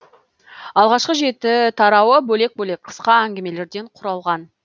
алғашқы жеті тарауы бөлек бөлек қысқа әнгімелерден құралған